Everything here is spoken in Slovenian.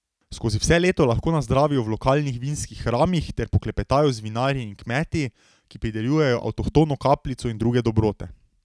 Skozi vse leto lahko nazdravijo v lokalnih vinskih hramih ter poklepetajo z vinarji in kmeti, ki pridelujejo avtohtono kapljico in druge dobrote.